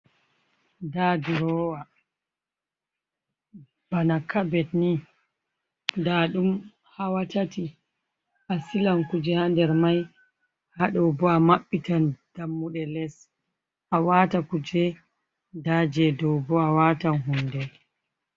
Da durowa bana kabetni da dum hawatati a silan kuje hander mai ,hadobo a mabbitan dammude les a wata kuje daje dowbo a watan hunde.